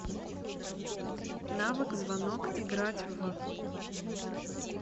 навык звонок играть в